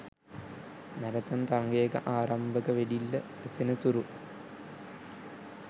marathon තරගයක ආරම්භක වෙඩිල්ල ඇසෙන තුරු